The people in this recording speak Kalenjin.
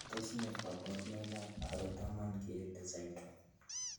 Tos nee koborunoikab Harrod Doman Keele syndrome?